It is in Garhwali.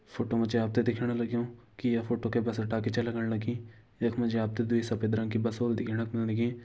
फ़ोट्टो मजी आपते दिखेण लग्यूं की ये फ़ोट्टो के बस अड्डा की च लगण लगीं। यख मजी आपते दुई सपेद रंग की बस ओल दिखेणक मिलण लगीं।